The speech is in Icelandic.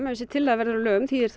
þessi tillaga verður að lögum þýðir það